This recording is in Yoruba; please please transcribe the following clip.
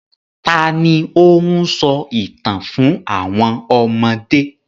Ta ni ó ń sọ ìtàn fún àwọn ọmọdé?